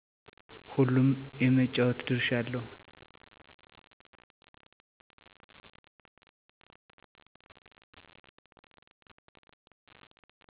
ሁሉም የመጫወት ድርሻ አለው